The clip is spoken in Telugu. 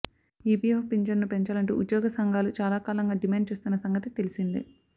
ఈపీఎఫ్ పింఛన్ను పెంచాలంటూ ఉద్యోగ సంఘాలు చాలాకాలంగా డిమాండ్ చేస్తున్న సంగతి తెలిసిందే